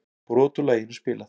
Brot úr laginu spilað